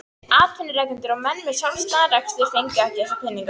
Atvinnurekendur og menn með sjálfstæðan rekstur fengu ekki þessa peninga.